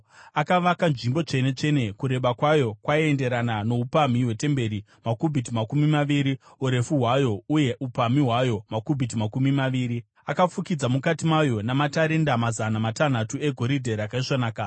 Akavaka Nzvimbo Tsvene-tsvene, kureba kwayo kwaienderana noupamhi hwetemberi makubhiti makumi maviri, urefu hwayo uye upamhi hwayo makubhiti makumi maviri. Akafukidza mukati mayo namatarenda mazana matanhatu egoridhe rakaisvonaka.